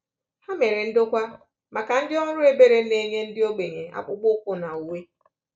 Ha mere ndokwa maka ndị ọrụ ebere na-enye ndị ogbenye akpụkpọ ụkwụ na uwe.